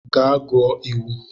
Gaa gụọ iwu.